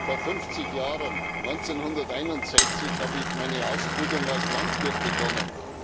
Vor fünfzig Jahren, 1961, habe ich meine Ausbildung als Landwirt begonnen.